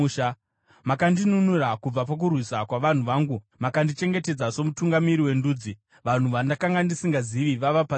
“Makandinunura kubva pakurwisa kwavanhu vangu; makandichengetedza somutungamiri wendudzi. Vanhu vandakanga ndisingazivi vava pasi pangu.